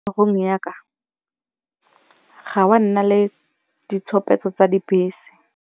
Go ya ka ga wa nna le ditshupetso tsa dibese.